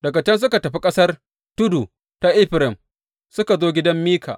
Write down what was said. Daga can suka tafi ƙasar tudu ta Efraim suka zo gidan Mika.